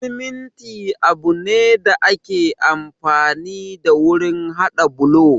Siminti abu ne da ake amfani da wurin haɗa bulo